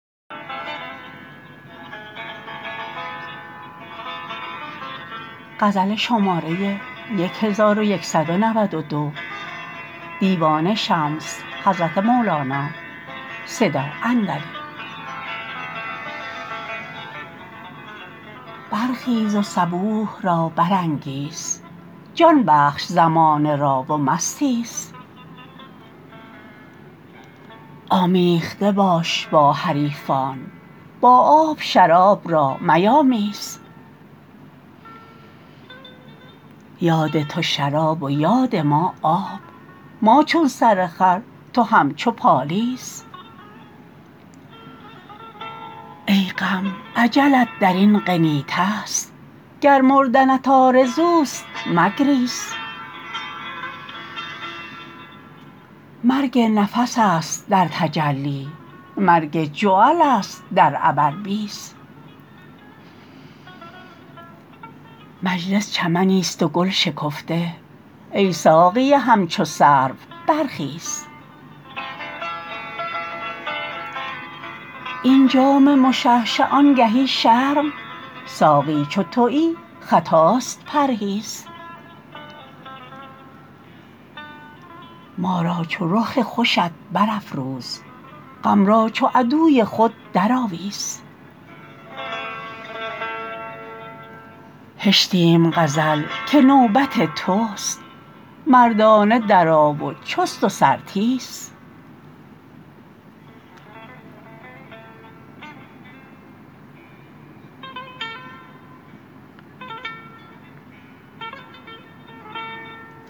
برخیز و صبوح را برانگیز جان بخش زمانه را و مستیز آمیخته باش با حریفان با آب شراب را میامیز یاد تو شراب و یاد ما آب ما چون سرخر تو همچو پالیز ای غم اجلت در این قنینه ست گر مردنت آرزوست مگریز مرگ نفس است در تجلی مرگ جعلست در عبربیز مجلس چمنیست و گل شکفته ای ساقی همچو سرو برخیز این جام مشعشع آنگهی شرم ساقی چو توی خطاست پرهیز ما را چو رخ خوشت برافروز غم را چو عدوی خود درآویز هشتیم غزل که نوبت توست مردانه درآ و چست و سرتیز